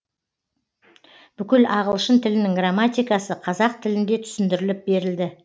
бүкіл ағылшын тілінің грамматикасы қазақ тілінде түсіндіріліп берілді